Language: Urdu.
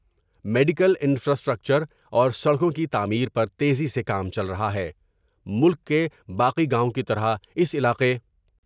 میڈیکل انفرااسٹرکچر اور سڑکوں کی تعمیر پر تیزی سے کام چل رہا ہے ۔ملک کے باقی گاؤں کی طرح اس علاقے